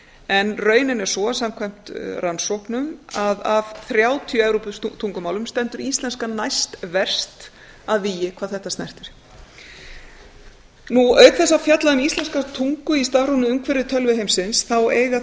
en raunin er sú samkvæmt rannsóknum að af þrjátíu evróputungumálum stendur íslenska næstverst að vígi hvað þetta snertir auk þess að fjalla um íslenska tungu í stafrænu umhverfi tölvuheimsins eiga